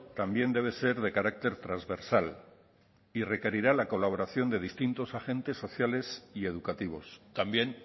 también debe ser de carácter transversal y requerirá la colaboración de distintos agentes sociales y educativos también